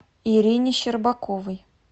ирине щербаковой